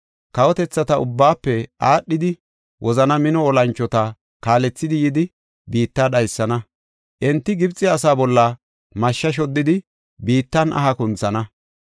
Kawotethata ubbaafe aadhidi, wozana mino olanchota kaalethidi yidi, biitta dhaysana; enti Gibxe asaa bolla mashshe shoddidi, biittan aha kunthana.